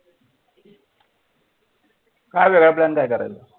काय वेगळा plan काय करायचं?